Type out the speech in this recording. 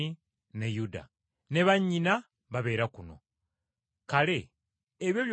Ne bannyina babeera kuno. Kale, ebyo byonna yabiggya wa?”